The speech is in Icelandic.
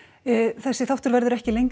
þessi þáttur verður ekki lengri